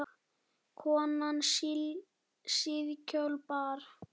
Konan síðkjól bar.